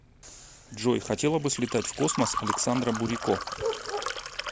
джой хотела бы слетать в космос александра бурико